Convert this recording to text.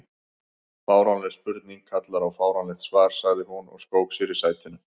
Fáránleg spurning kallar á fáránlegt svar sagði hún og skók sér í sætinu.